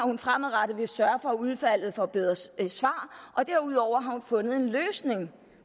hun fremadrettet vil sørge for at udvalget får bedre svar derudover har hun fundet en løsning